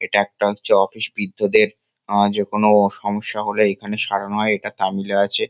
এটা একটা হচ্ছে অফিস বৃদ্ধদের। আ- যেকনো সমস্যা হলে এখানে সারানো হয়। এটা তামিলে আছে।